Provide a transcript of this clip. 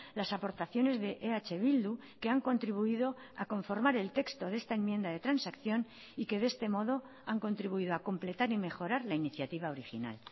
las aportaciones de eh bildu que han contribuido a conformar el texto de esta enmienda de transacción y que de este modo han contribuido a completar y mejorar la iniciativa original